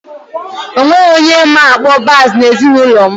Onweghi onye ma-akpọ bass n'ezinụlọ m